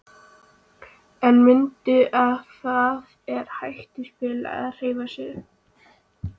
En mundu að það er hættuspil að hreyfa sig.